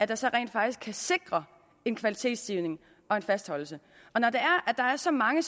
der så rent faktisk kan sikre en kvalitetsstigning og en fastholdelse når så mange